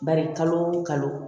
Bari kalo o kalo